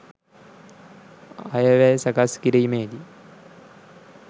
අයවැය සකස් කිරීමේදී